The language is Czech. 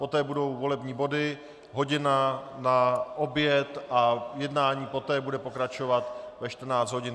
Poté budou volební body, hodina na oběd a jednání poté bude pokračovat ve 14 hodin.